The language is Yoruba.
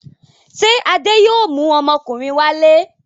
Ṣé Adé yóò mú ọmọkùnrin wálé?